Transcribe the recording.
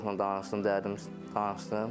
Psixoloqla danışdım, dərdimi danışdım.